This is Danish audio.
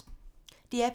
DR P2